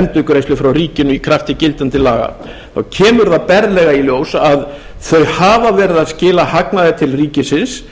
endurgreiðslu frá ríkinu í krafti gildandi laga þá kemur það berlega í ljós að þau hafa verið að skila hagnaði til ríkisins